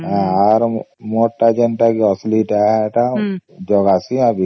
ଆର ମୂଳ ତ ଯେମିତି ଅସଲି କେ ଏଇଟା ଦିବାସୀ ଅସି